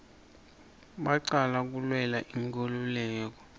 bacala kulwela inkululeko